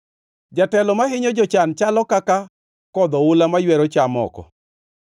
Jatelo mahinyo jochan chalo kaka kodh oula maywero cham oko.